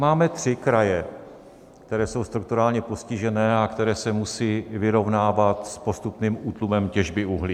Máme tři kraje, které jsou strukturálně postižené a které se musejí vyrovnávat s postupným útlumem těžby uhlí.